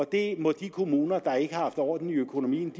det må de kommuner der ikke har haft orden i økonomien